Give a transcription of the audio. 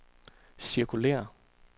cirkulér